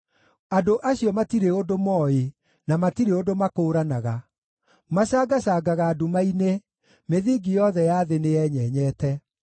“Andũ acio matirĩ ũndũ mooĩ, na matirĩ ũndũ makũũranaga. Macangacangaga nduma-inĩ; mĩthingi yothe ya thĩ nĩyenyenyete.